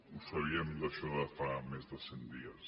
ho sabíem això de fa més de cent dies